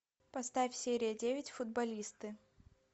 поставь серия девять футболисты